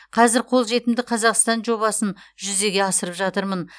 қазір қолжетімді қазақстан жобасын жүзеге асырып жатырмын